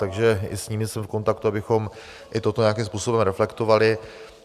Takže i s nimi jsem v kontaktu, abychom i toto nějakým způsobem reflektovali.